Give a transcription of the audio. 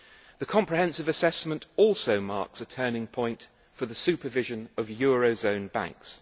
The comprehensive assessment also marks a turning point for the supervision of eurozone banks.